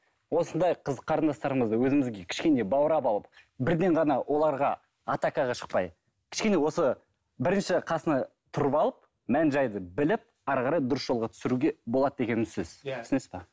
осындай қыз қарындастарымызды өзімізге кішкене баурап алып бірден ғана оларға атакаға шықпай кішкене осы бірінші қасына тұрып алып мән жайды біліп әрі қарай дұрыс жолға түсіруге болады деген сөз түсінесіз бе